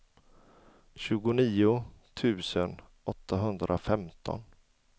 tjugonio tusen åttahundrafemton